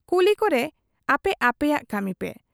ᱠᱩᱞᱤ ᱠᱚᱨᱮ ᱟᱯᱮ ᱟᱯᱮᱭᱟᱜ ᱠᱟᱢᱤ ᱯᱮ ᱾